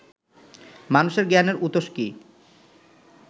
মানুষের জ্ঞানের উতস কি